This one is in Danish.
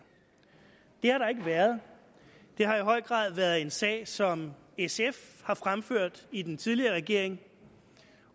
det har der ikke været det har i høj grad været en sag som sf har fremført i den tidligere regering